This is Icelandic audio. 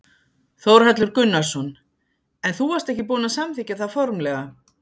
Þórhallur Gunnarsson: En þú varst ekki búin að samþykkja það formlega?